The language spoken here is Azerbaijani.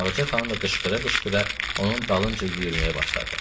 Ağca xanım da qışqıra-qışqıra onun dalınca yüyürməyə başladı.